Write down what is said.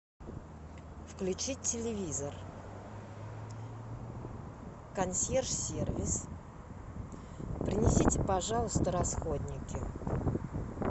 включить телевизор консьерж сервис принесите пожалуйста расходники